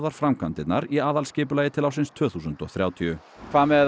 framkvæmdirnar í aðalskipulagi til ársins tvö þúsund og þrjátíu hvað með